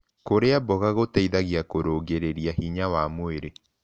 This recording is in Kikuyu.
Kũrĩa mboga gũteĩthagĩa kũrũngĩrĩrĩa hinya wa mwĩrĩ